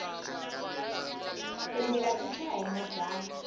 timbila ti chaya hi majaha